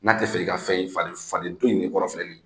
N'a tɛ fɛ i ka fɛn ye, fa faden faden to in de kɔrɔ filɛ nin ye.